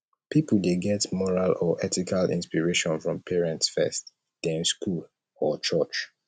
pipo de get moral or ethical inspiration from parents first then school or church